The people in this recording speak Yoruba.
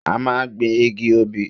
A máa gbin igi obì.